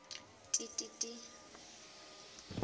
ti ti ti